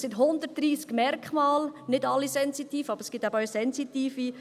Es sind 130 Merkmale – nicht alle sind sensitiv, aber es gibt aber eben auch sensitive.